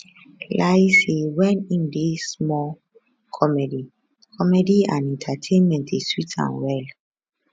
layi say wen im dey small comedy comedy and entertainment dey sweet am well